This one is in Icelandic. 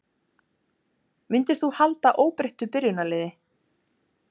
Myndir þú halda óbreyttu byrjunarliði?